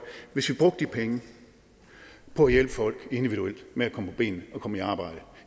hvis vi brugte de penge på at hjælpe folk individuelt med at komme på benene og komme i arbejde